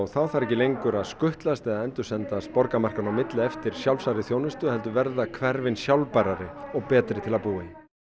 þá þarf ekki lengur að skutlast eða borgarmarkanna á milli eftir sjálfsagðri þjónustu heldur verða hverfin sjálfbærari og betri til að búa í